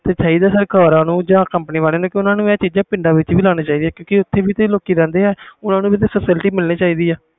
ਤੇ ਚਾਹੀਦਾ ਸਰਕਾਰਾਂ ਨੂੰ ਜਾ ਕੰਪਨੀਆਂ ਨੂੰ ਇਹ ਚੀਜ਼ਾਂ ਪਿੰਡਾਂ ਵਿਚ ਵੀ ਲੈਣੀਆਂ ਚਾਹੀਦੀਆਂ ਨੇ ਕਿਉਕਿ ਓਥੇ ਵੀ ਲੋਕੀ ਰਹਦੇ ਆ ਓਹਨਾ ਨੂੰ ਵੀ ਤੇ facility ਮਿਲਣੀ ਚਾਹੀਦੀ